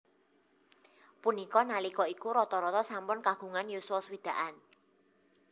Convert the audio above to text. Punika nalika iku rata rata sampun kagungan yuswa swidakan